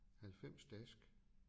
90 dask